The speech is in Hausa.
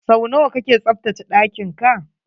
Sau nawa kake tsaftace ɗakin ka?